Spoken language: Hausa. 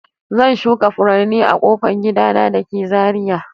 Zan shuka furanni a ƙofan gida na da ke Zariya.